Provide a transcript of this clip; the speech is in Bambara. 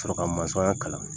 Sɔrɔ ka kalan